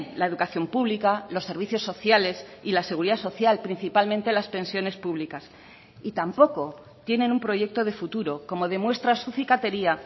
la educación pública los servicios sociales y la seguridad social principalmente las pensiones públicas y tampoco tienen un proyecto de futuro como demuestra su cicatería